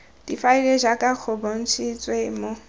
difaele jaaka go bontshitswe mo